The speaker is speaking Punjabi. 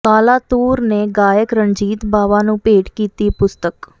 ਕਾਲਾ ਤੂਰ ਨੇ ਗਾਇਕ ਰਣਜੀਤ ਬਾਵਾ ਨੂੰ ਭੇਟ ਕੀਤੀ ਪੁਸਤਕ